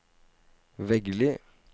Veggli